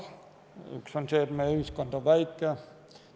Üks on see, et meie ühiskond on väike.